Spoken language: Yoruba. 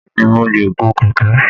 Bẹ́ẹ̀ ni, mo lè gun kẹ̀kẹ́